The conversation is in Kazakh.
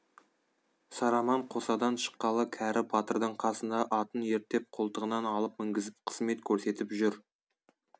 сараман қосадан шыққалы кәрі батырдың қасында атын ерттеп қолтығынан алып мінгізіп қызмет көрсетіп жүр